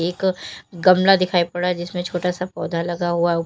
एक गमला दिखाई पड़ रहा है जिसमें छोटा सा पौधा लगा हुआ--